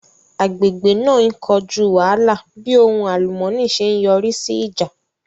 Agbègbè náà ń kojú wàhálà bí ohun àlùmọ́ọ́nì ṣe yọrí sí ìjà